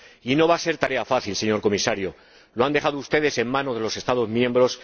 Y no va a ser tarea fácil, señor Comisario, porque lo han dejado ustedes en manos de los Estados miembros.